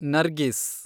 Nargis